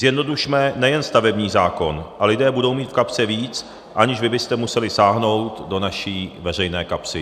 Zjednodušme nejen stavební zákon, a lidé budou mít v kapse víc, aniž vy byste museli sáhnout do naší veřejné kapsy.